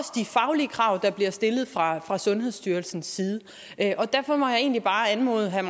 faglige krav der bliver stillet fra fra sundhedsstyrelsens side derfor må jeg egentlig bare anmode herre